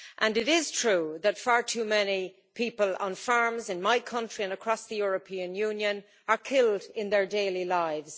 It is true that far too many people on farms in my country and across the European Union are killed while going about their daily lives.